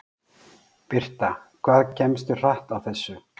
Birta: Hvað kemstu hratt á þessu?